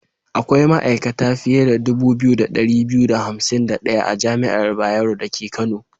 Akwai ma'aikata fiye da dubu biyu da ɗari biyu da hansim da ɗaya a jami'ar Bayero dake Kano.